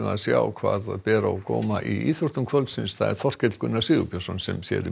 sjá hvað ber á góma í íþróttum kvöldsins það er Þorkell Gunnar Sigurbjörnsson sem sér um